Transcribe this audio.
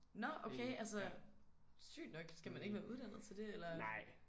Nåh okay altså sygt nok skal man ikke være uddannet til det eller?